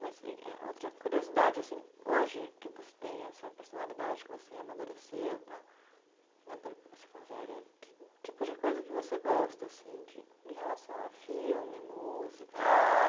Mas e eh outra curiosidade assim, hoje que você tem essa personalidade, que você amadureceu e tal, né pelo que você falou. Uhum. Que tipo de coisa que você gosta assim, de de relação a filme, música? Ah